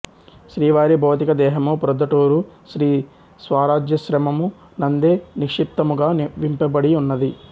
శ్రీవారి భౌతిక దేహము ప్రొద్దటూరు శ్రీ స్వారాజ్యశ్రమము నందే నిక్షిప్తము గావింపబడియున్నది